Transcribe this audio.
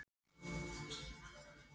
Og þessu var maður að agitera fyrir!